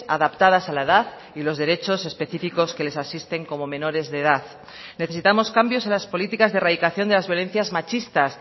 adaptadas a la edad y los derechos específicos que les asisten como menores de edad necesitamos cambios en las políticas de erradicación de las violencias machistas